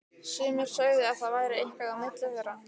Sumir sögðu að það væri eitthvað á milli þeirra.